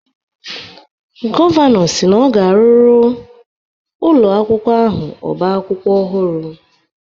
Gọvanọ si na ọ ga-arụrụ ụlọ akwụkwọ ahụ ọba akwụkwọ ọhụrụ